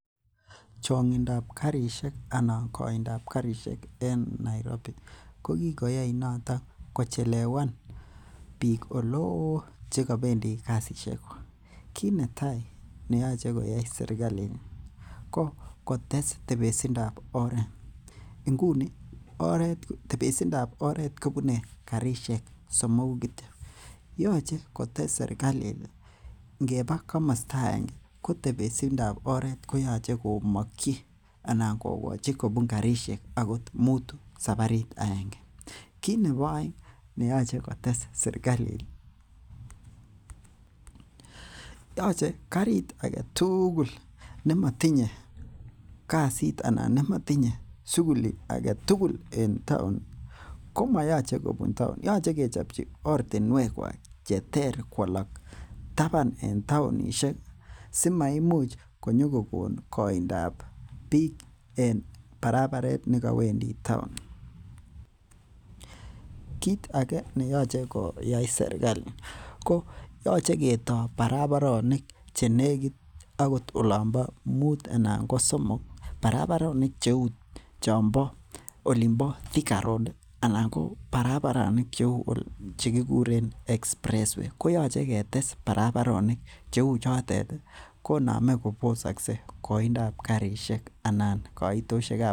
Chng'intab karisiek anan koindab karisiek en Nairobi, ko kikoyai noton kochelewan bik chekobendi kasisiekwak, kinoyoe koyai serkalit ko kotes tepesindab oret . Inguni tepesindab oret kobunei karisiek somoku kityo. Yoche kotes serkalit ingebaa komosotab oret, kobunee karisiekakot muutu saparit aenge. Kit neboo aengo, yoche karit agetugul nemotinye suguli en town komayache kobun town koyoche kobun oret ne cheter koalak kobun taban en town simaimuch koindab en barabaret kit age neyoche koyai serikali koyoche ko kotaa barabaronik cheite agot muut anan somok barabaronik cheuu chombo thika road ko koyoche ketes chechoton kobosaksei koindab karisiek.